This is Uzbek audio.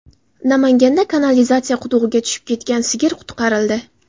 Namanganda kanalizatsiya qudug‘iga tushib ketgan sigir qutqarildi.